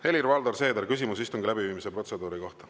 Helir-Valdor Seeder, küsimus istungi läbiviimise protseduuri kohta.